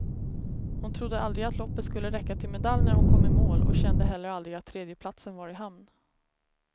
Hon trodde aldrig att loppet skulle räcka till medalj när hon kom i mål och kände heller aldrig att tredjeplatsen var i hamn.